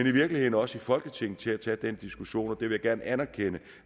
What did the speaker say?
i virkeligheden også i folketinget til at tage den diskussion og det vil jeg gerne anerkende